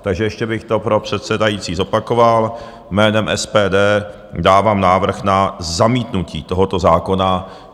Takže ještě bych to pro předsedající zopakoval: jménem SPD dávám návrh na zamítnutí tohoto zákona.